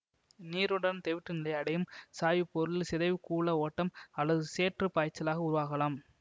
நீருடன் தெவிட்டுநிலையை அடையும் சாய்வுப் பொருள் சிதைவுக்கூள ஓட்டம் அல்லது சேற்றுப் பாய்ச்சலாக உருவாகலாம்